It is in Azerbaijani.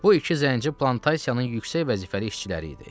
Bu iki zənci plantasiyanın yüksək vəzifəli işçiləri idi.